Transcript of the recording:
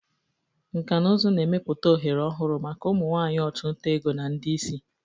Nkà na ụzụ na-emepụta ohere ọhụrụ maka ụmụ nwanyị ọchụnta ego na ndị isi.